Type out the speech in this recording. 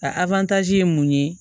A ye mun ye